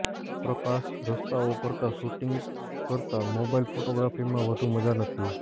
પ્રકાશ રસ્તાઓ કરતાં શૂટિંગ કરતાં મોબાઇલ ફોટોગ્રાફીમાં વધુ મજા નથી